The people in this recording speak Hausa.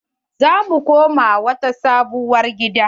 Za mu koma wata sabuwar gida.